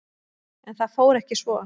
En það fór ekki svo.